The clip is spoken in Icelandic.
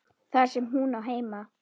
Þar sem hún á heima.